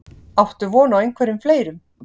Áttu von á einhverjum fleirum?